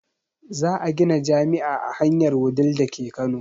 Za a gina jami'a a hanyar wudil dake kano